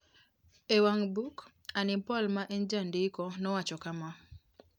E wang book, Annie Paul ma en jandiko nowacho kama: